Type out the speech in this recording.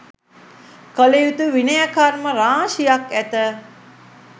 කළයුතු විනය කර්ම රාශියක් ඇත.